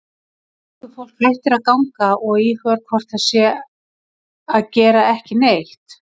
Göngufólk hættir að ganga og íhugar hvort það sé þá að gera ekki neitt.